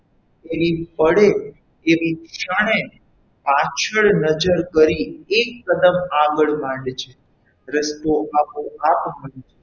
એની પડે એની ક્ષણે પાછળ નજર કરી એક કદમ આગળ માંડ જે રસ્તો આપો -આપ બની જશે.